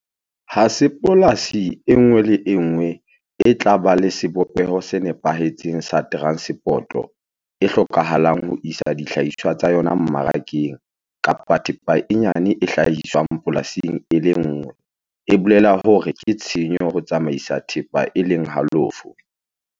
Ha se polasi e nngwe le e nngwe e tla ba le sebopeho se nepahetseng sa teranseporoto e hlokahalang ho isa dihlahiswa tsa yona mmarakeng kapa thepa e nyane e hlahiswang polasing e le nngwe e bolela hore ke tshenyo ho tsamaisa thepa e leng halofo.